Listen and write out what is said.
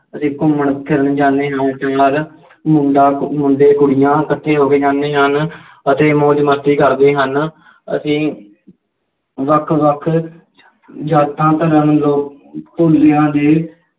ਅਸੀਂ ਘੁੰਮਣ ਫਿਰਨ ਜਾਂਦੇ ਹਾਂ ਮੁੰਡਾ ਮੁੰਡੇ ਕੁੜੀਆਂ ਇਕੱਠੇ ਹੋ ਕੇ ਜਾਂਦੇ ਹਨ ਅਤੇ ਮੌਜ ਮਸਤੀ ਕਰਦੇ ਹਨ ਅਸੀਂ ਵੱਖ ਵੱਖ ਜਾਤਾਂ ਜਾਤਾਂ, ਧੜ੍ਹਾਂ ਨੂੰ ਲੋਕ